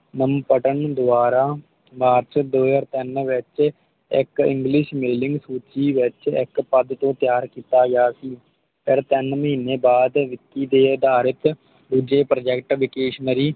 ਲੰਮ ਪਟਣ ਦਵਾਰਾ ਮਾਰਚ ਦੋ ਹਾਜ਼ਰ ਤਿਨ ਵਿਚ ਇਕ English Miling Kuchi ਵਿਚ ਇਕ ਪਦ ਤੋਂ ਤੈਆਰ ਕੀਤਾ ਗਿਆ ਸੀ ਫਿਰ ਤਿਨ ਮਹੀਨੇ ਬਾਦ ਵਿਕੀ ਦੇ ਅਧਾਰ ਚ ਦੂਜੇ Project Vectionary